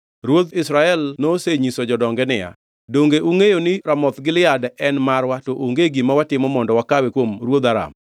Ruodh Israel nosenyiso jodonge niya, “Donge ungʼeyo ni Ramoth Gilead en marwa to onge gima watimo mondo wakawe kuom ruodh Aram?”